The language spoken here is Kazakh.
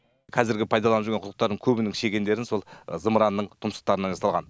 қазіргі пайдаланып жүрген құдықтардың көбінің шегендерін сол зымыранның тұмсықтарынан жасалған